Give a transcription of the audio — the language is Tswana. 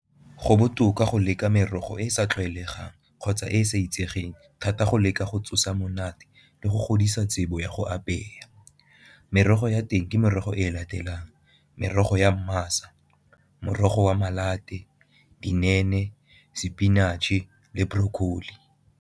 Go botoka go leka merogo e e sa tlwaelegang kgotsa e e sa itsegeng thata go leka go tsosa monate le go godisa tsebo ya go apeya. Merogo ya teng ke merogo e latelang merogo ya morogo wa sepinatšhe le broccoli.